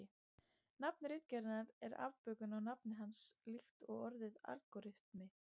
Nafn ritgerðarinnar er afbökun á nafni hans líkt og orðið algóritmi.